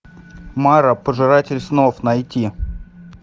мара пожиратель снов найти